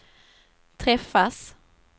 träffas